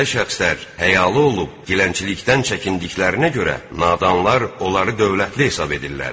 Belə şəxslər həyalı olub, dilənçilikdən çəkindiklərinə görə nadanlar onları dövlətli hesab edirlər.